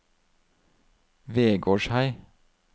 Vegårshei